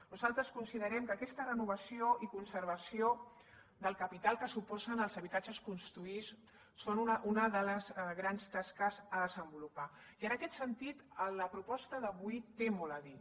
nosaltres considerem que aquesta renovació i conservació del capital que suposen els habitatges construïts són una de les grans tasques a desenvolupar i en aquest sentit la proposta d’avui té molt a dir